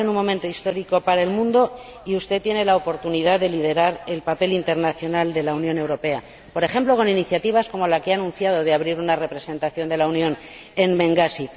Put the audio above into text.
Estamos en un momento histórico para el mundo y usted tiene la oportunidad de liderar el papel internacional de la Unión Europea, por ejemplo, con iniciativas como la que ha anunciado de abrir una representación de la Unión en Bengasi.